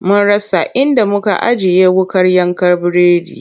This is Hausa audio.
Mun rasa inda muka ajiye wuƙar yanka biredin.